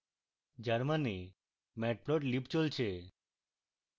যার means matplotlib চলছে